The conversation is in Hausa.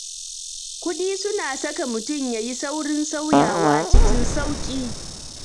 Kuɗi suna saka mutum ya yi saurin sauyawa cikin sauƙi.